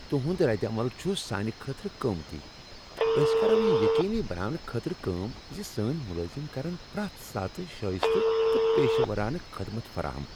تہنٛد ردعمل چھ سانِہ خٲطرٕ قۭمتی، تہٕ أسۍ کرو یہ یقینی بناونہٕ خٲطرٕ کٲم ز سٲنۍ ملٲزم کرٮ۪ن پرٛؠتھ ساتہٕ شائستہ تہٕ پیشورانہٕ خدمت فراہم۔